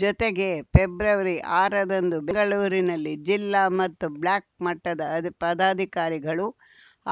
ಜೊತೆಗೆ ಫೆಬ್ರವರಿಆರರಂದು ಬೆಂಗಳೂರಿನಲ್ಲಿ ಜಿಲ್ಲಾ ಮತ್ತು ಬ್ಲಾಕ್‌ ಮಟ್ಟದ ಪದಾಧಿಕಾರಿಗಳು